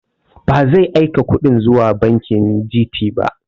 Ba zai aika kuɗin zuwa banki Gt ba